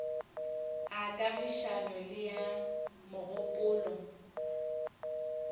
a kagišano le a mogopolo